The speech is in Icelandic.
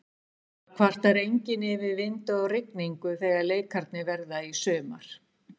Það kvartar enginn yfir vind og rigningu þegar leikirnir verða í sumar.